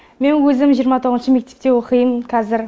мен өзім жиырма тоғызыншы мектепте оқимын қазір